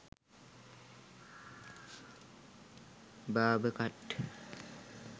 barber cut